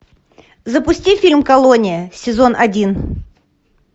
запусти фильм колония сезон один